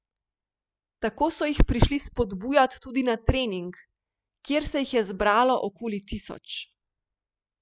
Tako so jih prišli spodbujat tudi na trening, kjer se jih je zbralo okoli tisoč.